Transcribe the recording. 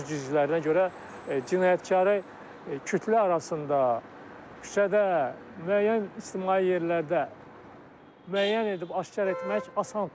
Üz cizgilərinə görə cinayətkarı kütlə arasında, küçədə, müəyyən ictimai yerlərdə müəyyən edib aşkar etmək asandır.